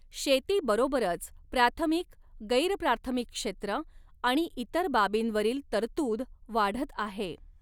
शेतीबरोबरच प्राथमिक, गैरप्राथमिक क्षेत्र आणि इतर बाबींवरील तरतूद वाढत आहे.